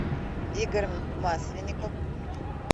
игорь масленников